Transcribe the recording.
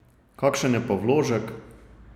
Kakšen je pa vložek?